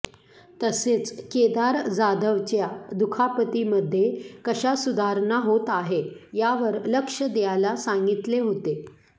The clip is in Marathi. तसेच केदार जाधवच्या दुखापतीमध्ये कशा सुधारणा होत आहे यावर लक्ष द्यायला सांगतिले होते